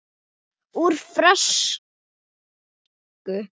Úr frönsku